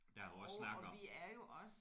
Ja og også snakke om